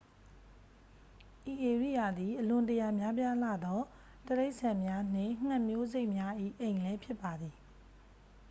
ဤဧရိယာသည် အလွန်တရာများပြားလှသော တိရစ္ဆာန်များနှင့် ငှက်မျိုးစိတ်များ၏ အိမ်လည်းဖြစ်ပါသည်